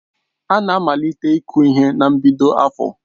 Ana amalite iku ihe na mbido afọ